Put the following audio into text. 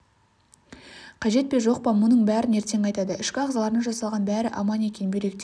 қажет пе жоқ па мұның бәрін ертең айтады ішкі ағзаларына жасалған бәрі аман екен бүйректері